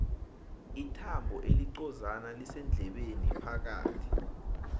ithambo elincozana lisendlebeni phakathi